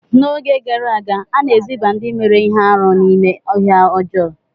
N'oge gara aga, a na-eziba ndị mere ihe arụ n'ime ọhịa ọjọọ.